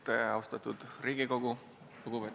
Tervist, austatud Riigikogu!